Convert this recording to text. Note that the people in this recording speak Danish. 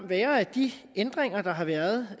være at de ændringer der har været